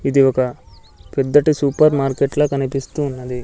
ఇది ఒక పెద్దటి సూపర్ మార్కెట్ లా కనిపిస్తూ ఉన్నది.